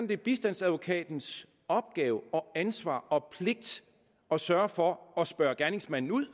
det er bistandsadvokatens opgave og ansvar og pligt at sørge for at spørge gerningsmanden ud